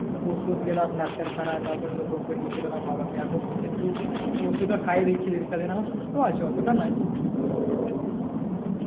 ওষুধ নিলাম ডাক্তার খানায় তার পর নিয়ে চলে এলাম বাবা কে এখন একটু ওষুধ টা খায়ে দিচ্ছি সুস্থ আছে অতটা নয়